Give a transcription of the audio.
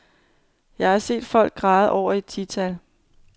Jeg har set folk græde over et tital.